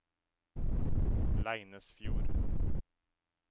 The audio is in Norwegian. Leinesfjord